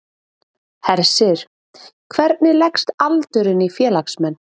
Hersir, hvernig leggst aldurinn í félagsmenn?